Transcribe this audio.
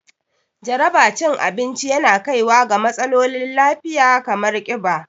Jaraba cin abinci yana kaiwa ga matsalolin lafiya kamar ƙiba